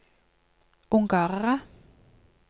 ungarere